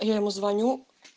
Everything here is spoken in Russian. я ему звоню